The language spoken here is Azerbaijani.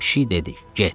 Pişik dedi: Get!